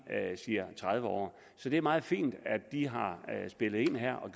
siger tredive år så det er meget fint at de har spillet ind her og